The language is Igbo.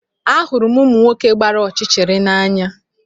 Ahụrụ m ụmụ nwoke gbara ọchịchịrị n'anya